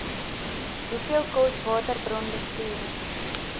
hoeveel kos waterbronbestuur